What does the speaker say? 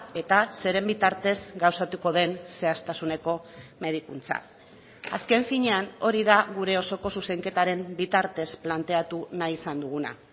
eta zeren bitartez gauzatuko den zehaztasuneko medikuntza azken finean hori da gure osoko zuzenketaren bitartez planteatu nahi izan duguna